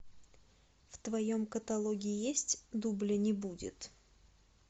в твоем каталоге есть дубля не будет